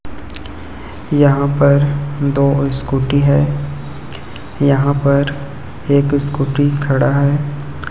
यहां पर दो स्कूटी है यहां पर एक स्कूटी खड़ा है।